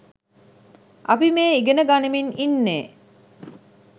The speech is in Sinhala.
අපි මේ ඉගෙන ගනිමින් ඉන්නේ